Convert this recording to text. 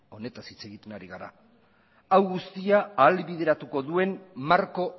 honetaz hitz egiten ari gara hau guztia ahalbideratuko duen marko